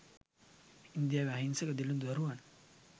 ඉන්දියාවේ අහිංසක දිළිඳු දරුවන්